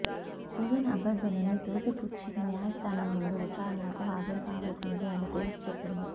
జగన్ అభ్యర్థనని తోసిపుచ్చిన న్యాయస్థానం ముందు విచారణకు హాజరు కావలసిందే అని తేల్చి చెప్పింది